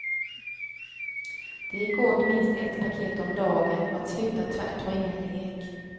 Det gick åt minst ett paket om dagen och att sluta tvärt var ingen lek.